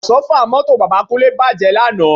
Àsọ́fà mọ́tò bàbá Kúnlé bàjẹ́ lánàá